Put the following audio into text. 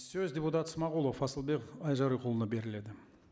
сөз депутат смағұлов асылбек айжарықұлына беріледі